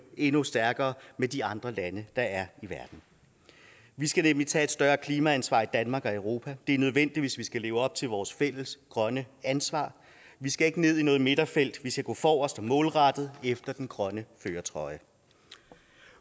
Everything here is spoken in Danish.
endnu stærkere med de andre lande der er i verden vi skal nemlig tage et større klimaansvar i danmark og europa det er nødvendigt hvis vi skal leve op til vores fælles grønne ansvar vi skal ikke ned i noget midterfelt vi skal gå forrest og gå målrettet efter den grønne førertrøje